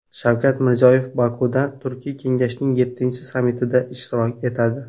Shavkat Mirziyoyev Bokuda Turkiy kengashning yettinchi sammitida ishtirok etadi.